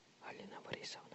алина борисовна